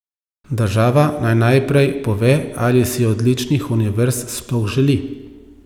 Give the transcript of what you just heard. Država naj najprej pove, ali si odličnih univerz sploh želi.